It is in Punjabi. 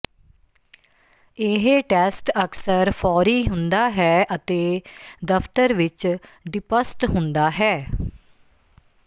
ਇਹ ਟੈਸਟ ਅਕਸਰ ਫੌਰੀ ਹੁੰਦਾ ਹੈ ਅਤੇ ਦਫਤਰ ਵਿਚ ਡਿੱਪੱਸਟ ਹੁੰਦਾ ਹੈ